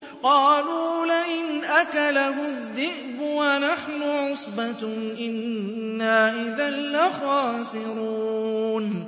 قَالُوا لَئِنْ أَكَلَهُ الذِّئْبُ وَنَحْنُ عُصْبَةٌ إِنَّا إِذًا لَّخَاسِرُونَ